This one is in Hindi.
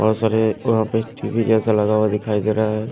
बहोत सारे वहां पे टी_वी जैसा लगा हुआ दिखाई दे रहा है।